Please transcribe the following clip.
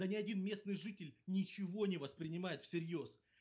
да не один местный житель ничего не воспринимает всерьёз